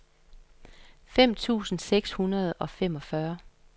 fem tusind seks hundrede og femogfyrre